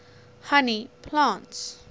honey plants